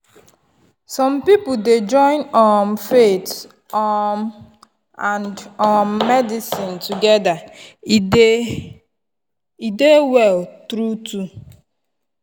some people dey join um faith um and um medicine together to dey well true-true.